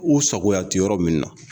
U sagoya tɛ yɔrɔ min na